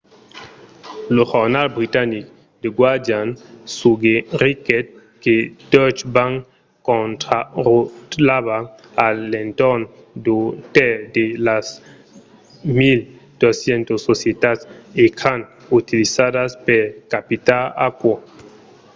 lo jornal britanic the guardian suggeriguèt que deutsche bank contrarotlava a l'entorn d'un tèrç de las 1200 societats ecran utilizadas per capitar aquò